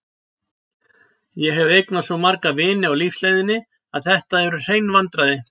Ég hef eignast svo marga vini á lífsleiðinni að þetta eru hrein vandræði.